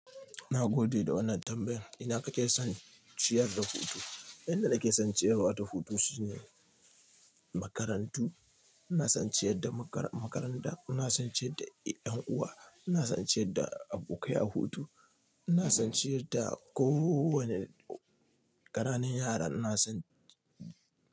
Na gode da wannan tambayar. Ina ka ke son ciyar da hutu? Inda nake son ciyarwa ta hutu shine makarantu. Ina son in ciyar da makaranta, ina son in ciyar da ƴan uwa, ina son in ciyar da abokai a hutu, ina son in ciyar da kowani ƙananun yara.